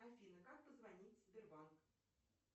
афина как позвонить в сбербанк